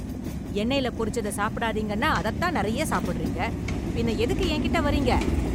எண்ணெய்ல பொரிச்சத சாப்பிடாதீங்கன்னா அதத் தான் நெறைய சாப்பிடுறீங்க, பின்ன எதுக்கு என்கிட்ட வரீங்க?